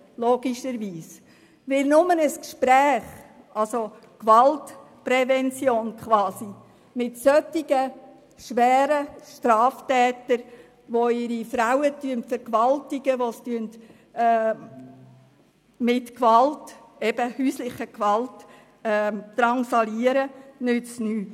Denn nur ein Gespräch, also quasi Gewaltprävention, mit solchen schweren Straftätern, die ihre Frauen vergewaltigen und mit häuslicher Gewalt drangsalieren, nützt nichts.